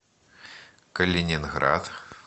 калининград